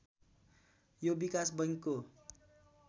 यो विकास बैङ्क हो